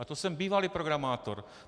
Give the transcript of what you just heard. A to jsem bývalý programátor.